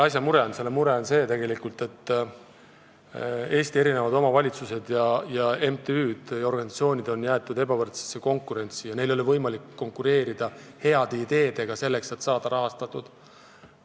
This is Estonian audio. Põhiline mure sellega seoses on, et Eesti omavalitsused, MTÜ-d ja organisatsioonid on jäetud ebavõrdsesse konkurentsi ja paljudel ei ole võimalik oma heade ideedega konkureerida, et saada rahastatud.